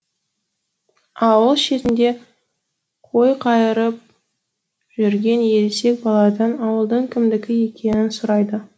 ауыл шетінде қой қайырып жүрген ересек баладан ауылдың кімдікі екенін сұрайды